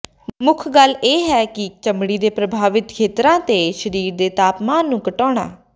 ਮੁੱਖ ਗੱਲ ਇਹ ਹੈ ਕਿ ਚਮੜੀ ਦੇ ਪ੍ਰਭਾਵਿਤ ਖੇਤਰਾਂ ਦੇ ਸਰੀਰ ਦੇ ਤਾਪਮਾਨ ਨੂੰ ਘਟਾਉਣਾ